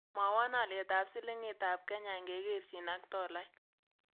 Mwawom alyetap silingiitap kenya ingekerchin ak tolait